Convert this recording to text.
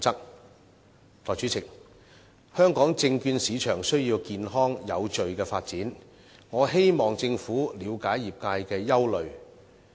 代理主席，香港證券市場需要健康有序的發展，我希望政府了解業界的憂慮。